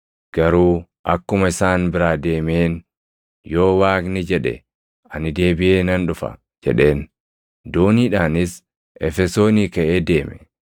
Garuu akkuma isaan biraa deemeen, “Yoo Waaqni jedhe ani deebiʼee nan dhufa” jedheen; dooniidhaanis Efesoonii kaʼee deeme.